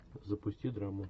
запусти драму